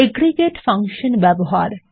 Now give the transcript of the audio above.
aggregate function ব্যবহার